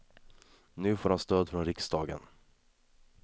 Nu får han stöd från riksdagen.